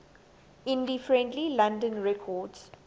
indie friendly london records